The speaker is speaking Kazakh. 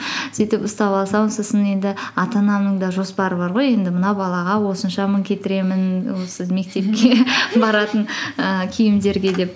сөйтіп ұстап алсам сосын енді ата анамның да жоспары бар ғой енді мына балаға осынша мың кетіремін осы мектепке баратын ііі киімдерге деп